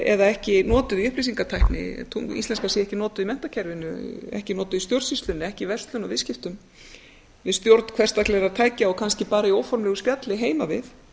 eða ekki notað í upplýsingatækni íslenskan sé ekki notuð í menntakerfinu ekki notuð í stjórnsýslunni ekki í verslun og viðskiptum við stjórn hversdagslegra tækja og kannski bara í óformlegu spjalli heima við